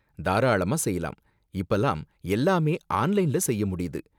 தாராளமா செய்யலாம்! இப்பலாம் எல்லாமே ஆன்லைன்ல செய்ய முடியுது.